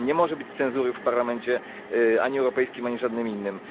Nie może być cenzury w Parlamencie, ani Europejskim, ani żadnym innym.